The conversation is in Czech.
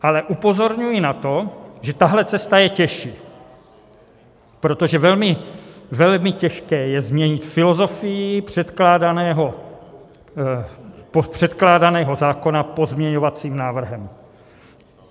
Ale upozorňuji na to, že tahle cesta je těžší, protože velmi těžké je změnit filozofii předkládaného zákona pozměňovacím návrhem.